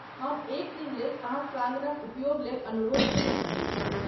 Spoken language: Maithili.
हम एक दिनलेल अहाँक प्राङ्गणक उपयोगलेल अनुरोध करय चाहैत छी।